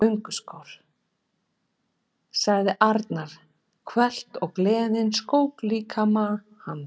Gönguskór! sagði Arnar hvellt og gleðin skók líkama hans.